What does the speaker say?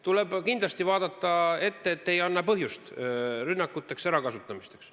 Tuleb kindlasti ette vaadata, et ei annaks põhjust rünnakuteks, ärakasutamiseks.